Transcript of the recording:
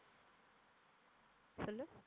சொல்லு